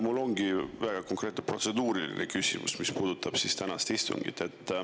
Mul ongi väga konkreetne protseduuriline küsimus, mis puudutab tänast istungit.